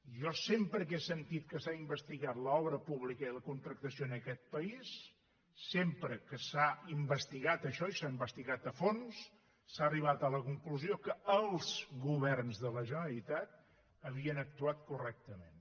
jo sempre que he sentit que s’ha investigat l’obra pública i la contractació en aquest país sempre que s’ha investigat això i s’ha investigat a fons s’ha arribat a la conclusió que els governs de la generalitat havien actuat correctament